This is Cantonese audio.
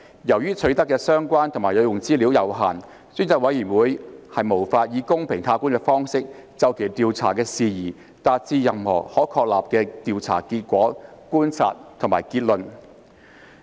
由於取得的相關和有用資料有限，專責委員會無法以公平客觀的方式，就其調查的事宜達致任何可確立的調查結果、觀察及結論。